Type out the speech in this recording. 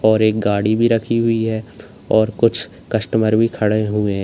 और एक गाड़ी भी रखी हुई है और कुछ कस्टमर भी खड़े हुए --